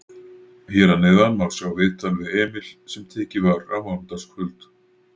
Hér að neðan má sjá viðtal við Emil sem tekið var á mánudagskvöld.